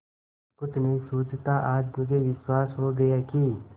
कुछ नहीं सूझता आज मुझे विश्वास हो गया कि